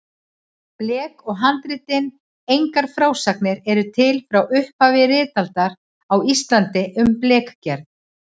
Blek og handritin Engar frásagnir eru til frá upphafi ritaldar á Íslandi um blekgerð.